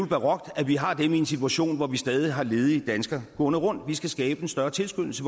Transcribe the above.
barokt at vi har dem i en situation hvor vi stadig har ledige danskere gående rundt vi skal skabe en større tilskyndelse